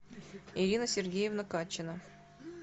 ирина сергеевна катчина